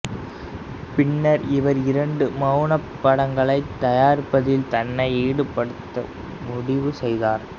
பின்னர் இவர் இரண்டு மௌனப் படங்களை தயாரிப்பதில் தன்னை ஈடுபடுத்த முடிவு செய்தார்